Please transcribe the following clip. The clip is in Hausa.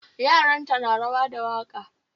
Yaranta na rawa da waka